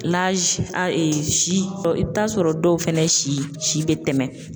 si i bi t'a sɔrɔ dɔw fɛnɛ si si bɛ tɛmɛn.